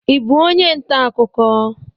Ị bụ onye nta akụkọ?